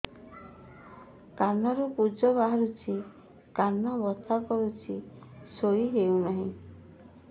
କାନ ରୁ ପୂଜ ବାହାରୁଛି କାନ ବଥା କରୁଛି ଶୋଇ ହେଉନାହିଁ